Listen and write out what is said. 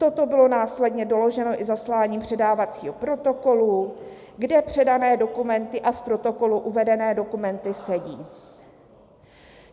Toto bylo následně doloženo i zasláním předávacího protokolu, kde předané dokumenty a k protokolu uvedené dokumenty sedí.